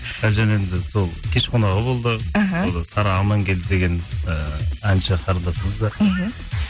і әлжан енді сол кеш қонағы болды іхі сара амангелді деген ііі әнші қарындасымыз бар іхі